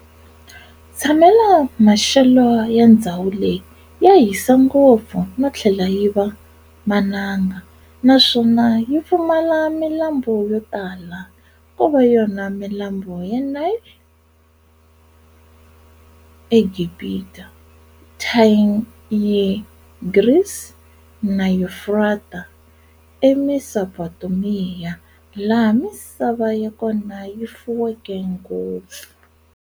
Ntshamelo maxele ya ndzhawu leyi ya hisa ngopfu nothlela yiva mananga, naswona yipfumala milambu yo tala, kova yona milambu ya Nile a Gibhita, Thayigrisi na Yufrata, e Mesopotamiya laha misava yakona yifuweke ngopfu.